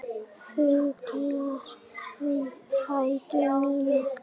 Fuglar við fætur mína.